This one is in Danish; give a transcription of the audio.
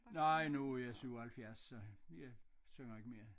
Nej nu jeg 77 så jeg synger ikke mere